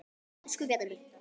Elsku Bjarni minn.